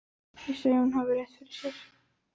Ég segi að hún hafi rétt fyrir sér.